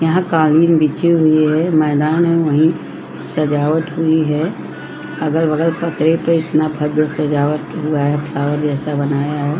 यहाँ कालीन बिछे हुए हैं मैदान है वही सजावट हुई है अगल बगल भव्य सजावट हुआ है और ऐसा बनाया है।